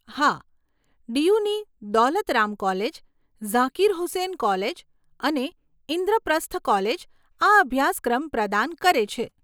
હા, ડીયુની Daulat Ram college, Zakir Hussain college અને ઇન્દ્રપ્રસ્થ કોલેજ આ અભ્યાસક્રમ પ્રદાન કરે છે.